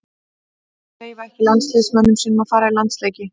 Félögin leyfa ekki landsliðsmönnum sínum að fara í landsleiki.